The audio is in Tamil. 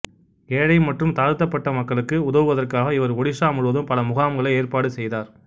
ஏழை மற்றும் தாழ்த்தப்பட்ட மக்களுக்கு உதவுவதற்காக இவர் ஒடிசா முழுவதும் பல முகாம்களை ஏற்பாடு செய்தார்